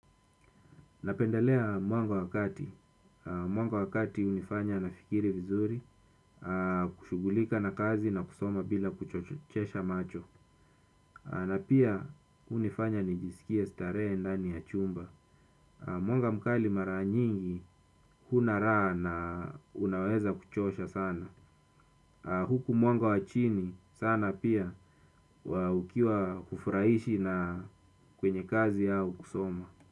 Napendalea mwanga wakati. Mwanga wakati unifanya nafikiri vizuri, kushughulika na kazi na kusoma bila kuchochesha macho. Na pia unifanya nijisikie starehe ndani ya chumba. Mwanga mkali mara nyingi, kuna raha na unaweza kuchosha sana. Huku mwanga wachini sana pia, ukiwa kufurahishi na kwenye kazi yao kusoma.